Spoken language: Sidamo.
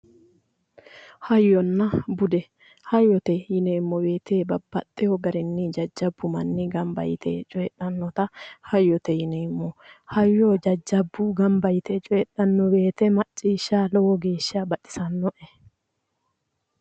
Hayyonna bude ,hayyote yineemmo woyte babbaxeyo garinni jajjabu manni gamba yte coyidhanotta hayyote yineemmo. Hayyo jajjabu gamba yte coyidhanno woyte macciishsha lowo geeshsha baxisanoe".